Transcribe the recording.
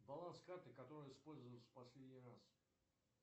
баланс карты которая использовалась в последний раз